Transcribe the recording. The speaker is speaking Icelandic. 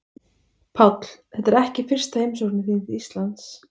Páll: Þetta er ekki fyrsta heimsókn þín til Íslands?